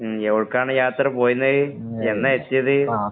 മ്, എവിടെക്കാണ്‌ യാത്ര പോയിരുന്നേ? എന്നാ എത്തിയത്?